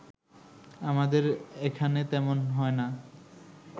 আমাদের এখানে তেমন হয় না